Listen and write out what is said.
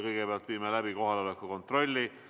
Kõigepealt viime läbi kohaloleku kontrolli.